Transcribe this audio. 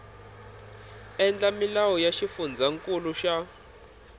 endla milawu ya xifundzankulu xa